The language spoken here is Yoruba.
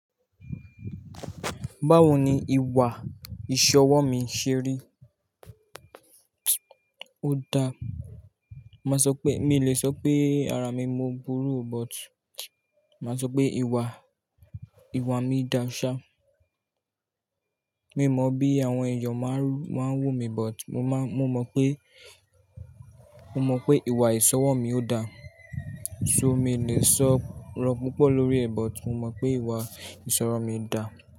Báwo ni ìwà ìṣọwọ́ mi ṣe rí? Ó da, màá sọ pé mi ò lè sọ pé ara mi mo burú but màá sọ pé ìwà, ìwà mi dá ṣá. Mi mọ bí àwọn èèyàn máa ń wò mí but mo má mo mọ pé, mo mọ pé ìwà ìṣọwọ́ mi ò dá. So mi lè sọ rọ́ púpọ̀ lórí ẹ̀ but mo mọ pé ìwà ìṣọrọ̀ mi dà.